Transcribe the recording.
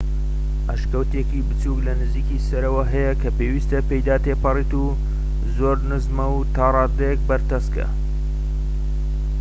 ئەشکەوتێکی بچووک لە نزیکی سەرەوە هەیە کە پێویستە پێیدا تێپەڕیت زۆر نزمە و تا ڕادەیەک بەرتەسکە